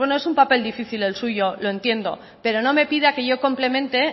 bueno es un papel difícil el suyo lo entiendo pero no me pida que yo complemente